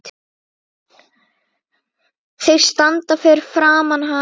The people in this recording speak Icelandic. Þeir standa fyrir framan hana.